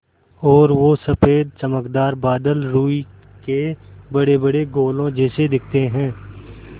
और वो सफ़ेद चमकदार बादल रूई के बड़ेबड़े गोलों जैसे दिखते हैं